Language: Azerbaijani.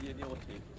O da yeni otel.